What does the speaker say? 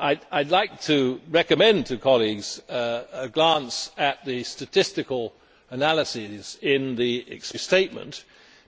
I would like to recommend to colleagues a glance at the statistical analysis in the explanatory statement